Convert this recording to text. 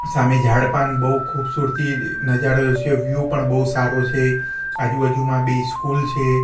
સામે ઝાડ પાન બહુ ખૂબસૂરતી નજારો સે વ્યુ પણ બહુ સારો છે આજુબાજુમાં બે સ્કૂલ છે.